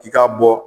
I k'a bɔ